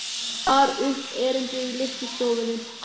Hann bar upp erindið í litlu stofunni.